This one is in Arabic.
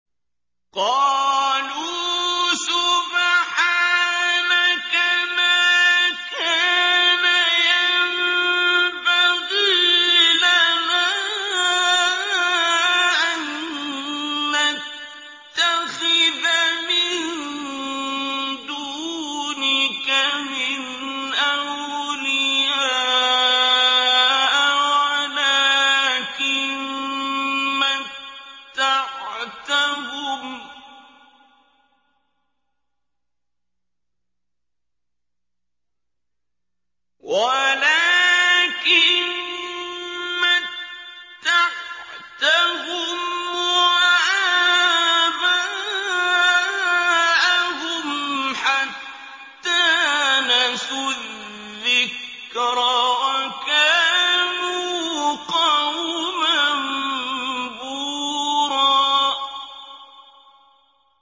قَالُوا سُبْحَانَكَ مَا كَانَ يَنبَغِي لَنَا أَن نَّتَّخِذَ مِن دُونِكَ مِنْ أَوْلِيَاءَ وَلَٰكِن مَّتَّعْتَهُمْ وَآبَاءَهُمْ حَتَّىٰ نَسُوا الذِّكْرَ وَكَانُوا قَوْمًا بُورًا